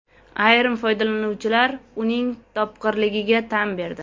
Ayrim foydalanuvchilar uning topqirligiga tan berdi.